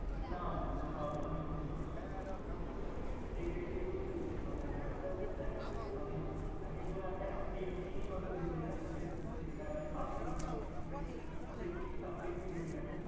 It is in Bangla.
না না, এটা short term memory loss নয়। এটা exactly তুই মানে একটা দেখ মানে একেকজন আছে একটা film ই হয়তো ভেবে যাচ্ছে, ঠিক আছে বা একটা subject নিয়ে specify- specific subject নিয়ে ভেবে যাচ্ছে